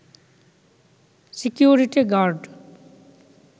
security guard